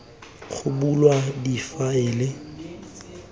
go bulwe difaele tse di